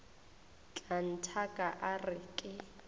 tla nthaka a re ke